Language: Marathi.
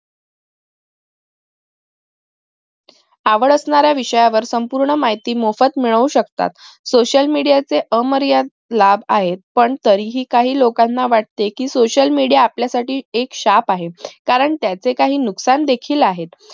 आवड असणाऱ्या विषयावर संपूर्ण माहिती मोफत मिळवू शकतात social media चे अमर्यादित लाभ आहेत पण तरीही काही लोकांना वाटत कि social media आपल्यासाठी एक शाप आहे कारण त्याचे काही नुकसान देखील आहेत